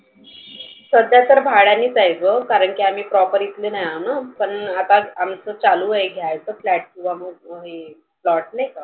सध्या तर भाड्यानेच आहे ग. कारण की आम्ही proper इथले नाही ना. पण आता आमच चालू आहे घ्यायच. flat किंवा मग plot नाहीका.